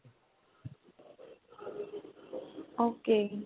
ok